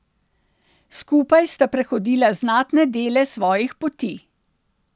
Skupaj sta prehodila znatne dele svojih poti.